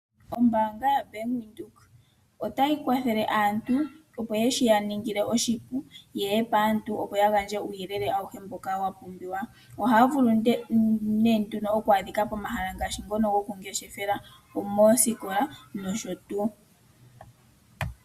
Ombaanga ya Bank Windhoek otayi kwathele aantu opo shi yaningile oshipu yeye paantu opo ya gandje uuyelele awuhe mboka wa pumbiwa. Ohaya vulu nee nduno okwaadhika pomahala ngaashi ngono gokungeshefela, omoosikola nosho tuu.